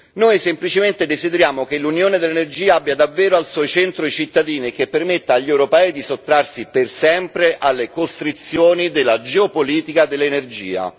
Noi semplicemente desideriamo che l'unione dell'energia abbia davvero al suo centro i cittadini e che permetta agli europei di sottrarsi per sempre alle costrizioni della geopolitica dell'energia.